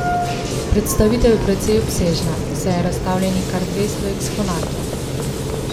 Predstavitev je precej obsežna, saj je razstavljenih kar dvesto eksponatov.